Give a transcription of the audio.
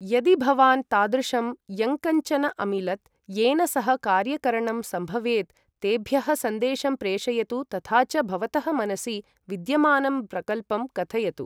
यदि भवान् तादृशं यङ्कञ्चन अमिलत् येन सह कार्यकरणं सम्भवेत् तेभ्यः सन्देशं प्रेषयतु तथा च भवतः मनसि विद्यमानं प्रकल्पं कथयतु।